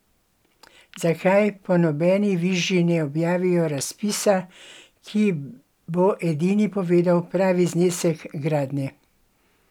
Zakaj po nobeni viži ne objavijo razpisa, ki bo edini povedal pravi znesek gradnje?